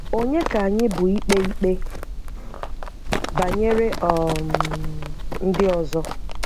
Onye ka anyị bụ ikpe ikpe banyere um ndị ọzọ?